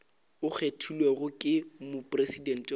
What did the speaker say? a kgethilwego ke mopresidente wa